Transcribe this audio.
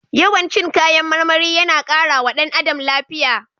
Yawan cin kayan marmari yana kara wa ɗan adam lafiya.